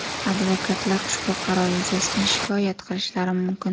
Advokatlar ushbu qaror yuzasidan shikoyat qilishlari mumkin.